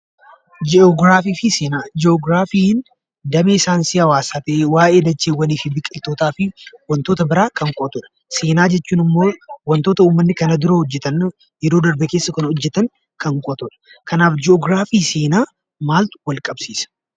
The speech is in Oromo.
Ji'ograafii fi Seenaa. Ji'ograafiin damee saayinsii hawaasaa ta'ee, waa'ee dacheewwanii fi biqiltootaa fi wantoota biraa kan qo'atu dha. Seenaa jechuun immoo wantoota uummatni kana duea hojjetan, yeroo darbe keessa kan hojjetan kan qo'atu dha. Kanaaf Ji'ograafii fi seenaa maaltu wal qabsiisa?